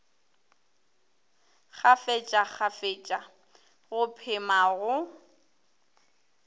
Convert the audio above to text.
kgafetša kgafetša go phema go